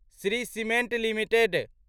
Shri cement limited